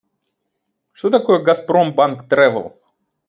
что такое газпромбанк трэвэл